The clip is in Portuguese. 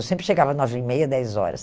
Eu sempre chegava nove e meia, dez horas.